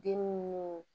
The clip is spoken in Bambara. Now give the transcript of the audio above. Den munnu